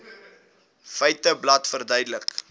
feiteblad verduidelik